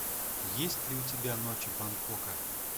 есть ли у тебя ночи бангкока